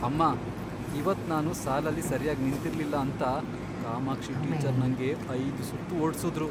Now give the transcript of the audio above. ಅಮ್ಮಾ, ಇವತ್ತ್ ನಾನು ಸಾಲಲ್ಲಿ ಸರ್ಯಾಗ್ ನಿಂತಿರ್ಲಿಲ್ಲ ಅಂತ ಕಾಮಾಕ್ಷಿ ಟೀಚರ್ ನಂಗೆ ಐದ್ ಸುತ್ತ್ ಓಡ್ಸುದ್ರು.